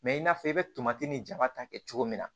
Mɛ i n'a fɔ i bɛ tomati ni jama ta kɛ cogo min na